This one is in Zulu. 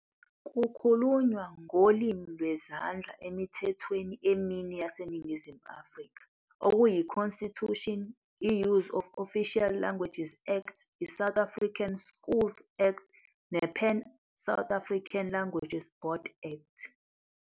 Kukhulunywa ngolimi lwezandla emithethweni emine yaseNingizimu Afrika, okuyi-Constitution, i-Use of Official Languages Act, i-South African Schools Act, ne-Pan South African Language Board Act.